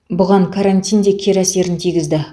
бұған карантин кері әсерін тигізді